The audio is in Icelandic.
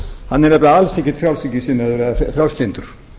hann er nefnilega alls ekki frjálslyndur